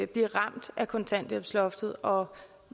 blive ramt af kontanthjælpsloftet og